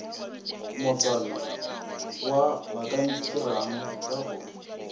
motsana wa bakantirang ka go